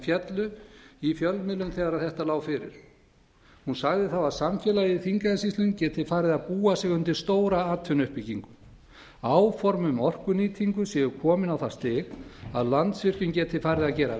féllu í fjölmiðlum þegar þetta lá fyrir hún sagði þá að samfélagið í þingeyjarsýslum geti farið að búa sig undir stóra atvinnuuppbyggingu áform um orkunýtingu séu komin á það stig að landsvirkjun geti farið að gera